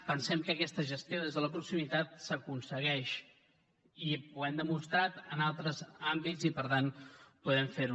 pensem que aquesta gestió des de la proximitat s’aconsegueix i ho hem demostrat en altres àmbits i per tant podem fer ho